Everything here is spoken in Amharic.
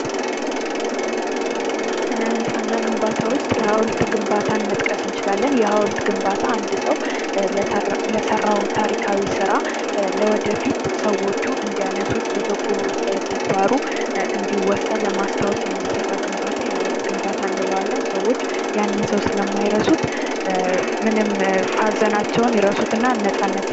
ስነ ህንፃና ግንባታ ውስጥ የሐውልት ግንባታን መጥቀስ እንችላለን። የሃውልት ግንባታ አንድ ሰው ለሰራው ታሪካዊ ስራ ለወደፊት ሰዎቹ እንዲያነሱት በበጎ ተግባሩ እንዲወሳ ለማስታወስ የሚሰራ ግንባታ የሐውልት ግንባታ እንለዋለን። ሰዎች ያንን ሰው ስለማይረሱት ምንም ሃዘናቸውን ይረሱትና ነፃነት...